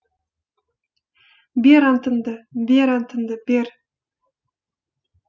бер антыңды бер антыңды бер